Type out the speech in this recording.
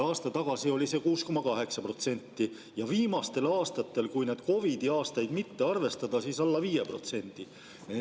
Aasta tagasi oli see 6,8% ja viimastel aastatel, kui neid COVID‑i aastaid mitte arvestada, alla 5%.